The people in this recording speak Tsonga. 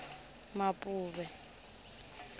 mapuve